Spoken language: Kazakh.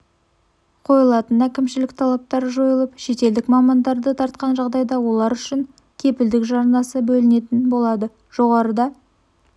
қойылатын әкімшілік талаптар жойылып шетелдік мамандарды тартқан жағдайда олар үшін кепілдік жарнасы бөлінетін болады жоғарыда